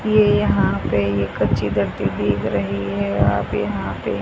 ये यहां पे ये कच्ची धरती दिख रही है आप यहां पे--